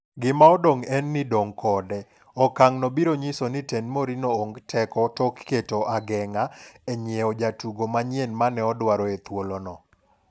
Gima odong' en ni dong' kode, okang' no biro nyiso ni tend Mourinho ong teko kendo tok keto ageng'a e nyiew jotugo manyien mane odwaro e thuolo mokalo.